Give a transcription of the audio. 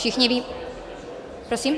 Všichni ví... prosím?